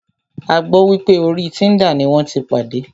A gbọ́ wípé orí Tinder ní wọ́n tí pàdé.